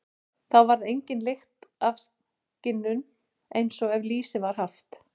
Þá varð engin lykt af skinnunum, eins og ef lýsi var haft.